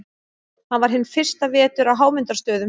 Hann var hinn fyrsta vetur á Hámundarstöðum.